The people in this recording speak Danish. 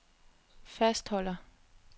fastholder